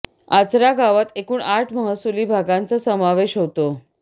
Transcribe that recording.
आचरा गावात एकूण आठ महसूली भागांचा समावेश होतो